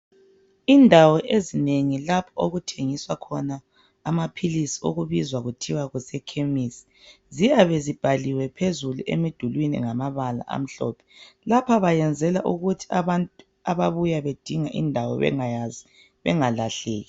Indawo ezinengi lapho okuthengiswa khona amaphilisi okubizwa kuthiwa kusekhemisi, ziyabe zibhaliwe phezulu emidulwini ngamabala amhlophe. Lapha bayenzela ukuuthi abantu ababuya bedinga indawo bengayazi bengalahleki.